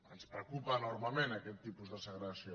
ens preocupa enormement aquest tipus de segregació